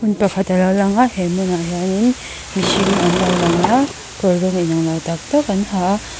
pakhat alo langa he hmunah hianin mihring an lo langa kawr rawng in anglo tak tak an ha a.